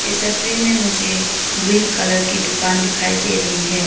तस्वीर में मुझे ग्रीन कलर की दुकान दिखाई दे रही है।